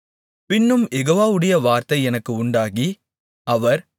பின்னும் யெகோவாவுடைய வார்த்தை எனக்கு உண்டாகி அவர்